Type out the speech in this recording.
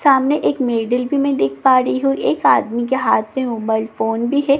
सामेन एक मैडिल भी मैं देख पा रही हूँ एक आदमी के हाथ में मोबाइल फोन भी है सिम--